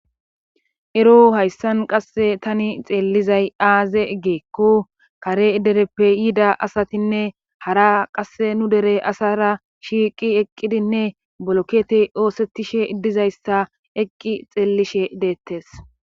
Ero hayssan qasse tani xeellizay aaze egeekko kare dereppe yida asatinne hara qasse nu dere asara shiiqi eqqidinne bolokete oosettishe idizayssa eqqi xeellishe deettes.